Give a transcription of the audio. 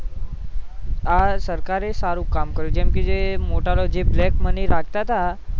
આ સરકાર એ સારુ કામ કરું કેમકે જે મોટા લોકો જે black money રાખતા હતા